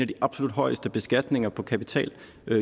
de absolut højeste beskatninger på kapital